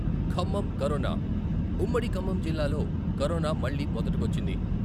Khammam corona ఉమ్మడి ఖమ్మం జిల్లాలో corona మళ్ళీ మొదటికొచ్చింది.